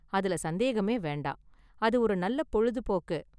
அதுல சந்தேகமே வேண்டாம், அது ஒரு நல்ல பொழுதுபோக்கு.